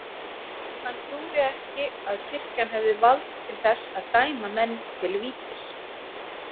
Hann trúði ekki að kirkjan hefði vald til þess að dæma menn til vítis.